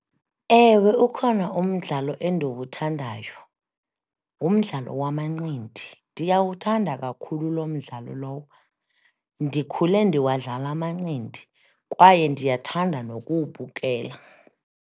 Ewe, ukhona umdlalo endiwuthandayo, ngumdlalo wamanqindi, ndiyawuthanda kakhulu loo mdlalo lowo, ndikhule ndiwadlala amanqindi, kwaye ndiyathanda nokuwubukela.